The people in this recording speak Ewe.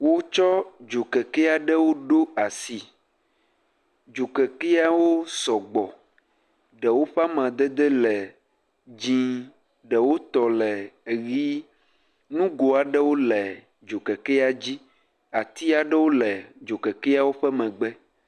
Wotsɔ dzokeke aɖewo ɖo asi. Dzokekeawo sɔgbɔ. Ɖewo ƒe amadede le dzi, ɖewo tɔ le eʋi. Nugo aɖewo le dzokekea dzi. Ati aɖewo le dzokekeawo ƒe megbe.